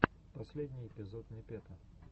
последний эпизод непета